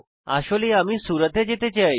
আসলে আমি সুরত এ যেতে চাই